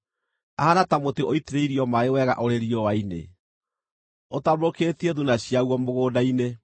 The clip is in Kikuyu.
Ahaana ta mũtĩ ũitĩrĩirio maaĩ wega ũrĩ riũa-inĩ, ũtambũrũkĩtie thuuna ciaguo mũgũnda-inĩ;